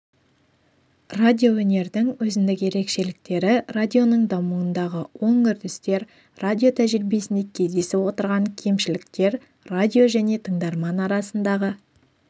радиоөнердің өзіндік ерекшеліктері радионың дамуындағы оң үрдістер радио тәжірибесінде кездесіп отырған кемшіліктер радио және тыңдарман арасындағы